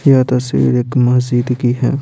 यह तस्वीर एक मस्जिद की है।